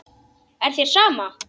Er þér sama?